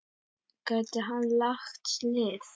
Gæti hann lagt lið?